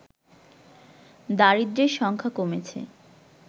দারিদ্রের সংখ্যা কমেছে